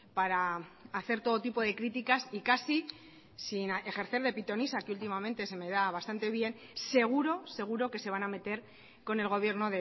para hacer todo tipo de críticas y casi sin ejercer de pitonisa que últimamente se me da bastante bien seguro seguro que se van a meter con el gobierno